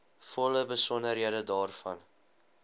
volle besonderhede daarvan